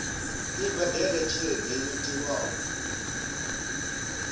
i badele tshelede yo tiwaho